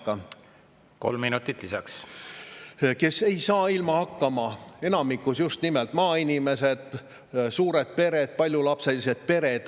kes ei saa ilma hakkama: enamikus just nimelt maainimesed, suured paljulapselised pered.